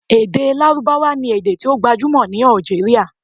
Ede Larubawa ni ede ti o gbajumo ni Algeria